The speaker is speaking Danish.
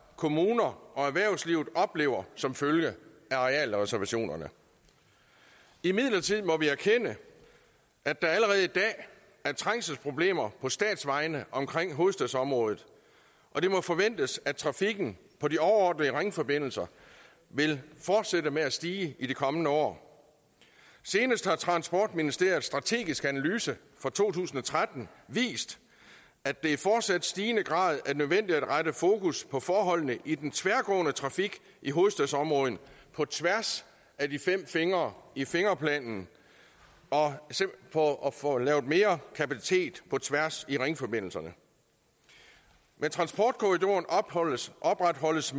kommuner og erhvervslivet oplever som følge af arealreservationerne imidlertid må vi erkende at der allerede i dag er trængselsproblemer på statsvejene omkring hovedstadsområdet og det må forventes at trafikken på de overordnede ringforbindelser vil fortsætte med at stige de kommende år senest har transportministeriets strategiske analyse for to tusind og tretten vist at det fortsat i stigende grad er nødvendigt at rette fokus på forholdene i den tværgående trafik i hovedstadsområdet på tværs af de fem fingre i fingerplanen for at få lavet mere kapacitet på tværs i ringforbindelserne med transportkorridoren opretholdes